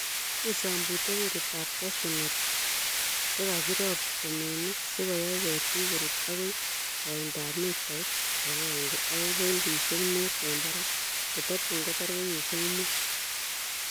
Kisombute ketitab cashew nut chekakirob temenik sikoyai ketik korut agoi koindab mitait akenke akoi pointisiek mut en barak. Kototun kotar kenyisiek mut.